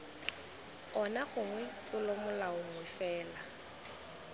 ona gongwe tlolomolao nngwe fela